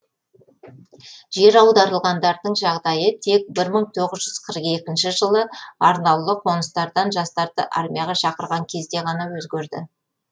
жер аударылғандардың жағдайы тек бір мың тоғыз жүз қырық екінші жылы арнаулы қоныстардан жастарды армияға шақырған кезде ғана өзгерді